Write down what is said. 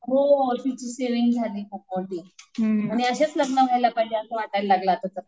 हो सेव्हिंग झाली खूप मोठी. आणि असेच लग्न व्हायला पाहिजे असं वाटायला लागलं आता तर.